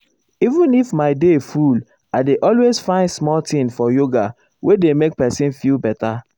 even if my day full i dey always find small time for yoga wey dey make person feel better.